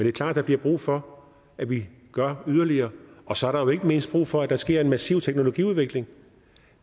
er klart at der bliver brug for at vi gør yderligere og så er der jo ikke mindst brug for at der sker en massiv teknologiudvikling